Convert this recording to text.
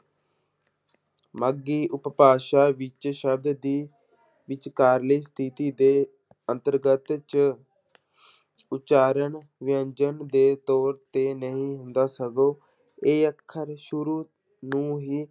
ਮਾਘੀ ਉਪਭਾਸ਼ਾ ਵਿੱਚ ਸ਼ਬਦ ਦੀ ਵਿਚਕਾਰਲੀ ਸਥਿੱਤੀ ਦੇ ਅੰਤਰਗਤ 'ਚ ਉਚਾਰਨ ਵਿਅੰਜਨ ਦੇ ਤੌਰ ਤੇ ਨਹੀਂ ਹੁੰਦਾ ਸਗੋਂ ਇਹ ਅੱਖਰ ਸ਼ੁਰੂ ਨੂੰ ਹੀ,